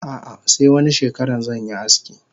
Ah ah se wani shekaran zanyi aski.